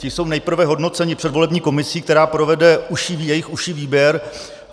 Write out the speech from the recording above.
Ti jsou nejprve hodnoceni předvolební komisí, která provede jejich užší výběr.